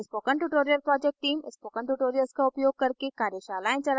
spoken tutorial project team: spoken tutorials का उपयोग करके कार्यशालाएं चलाती है